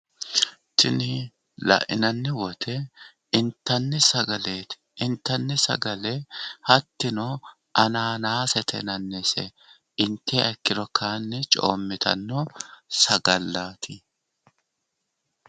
Tini lainanni wote intanni sagaleti. Intanni sagale hattino Ananasete yinannite. intiha ikkiro coomittanno sagallaati.